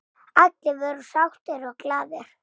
Allir voru sáttir og glaðir.